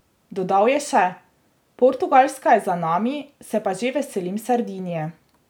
Dodal je še: "Portugalska je za nami, se pa že veselim Sardinije.